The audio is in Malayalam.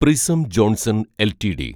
prism Johnson LTD